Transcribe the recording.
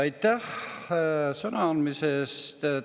Aitäh sõna andmise eest!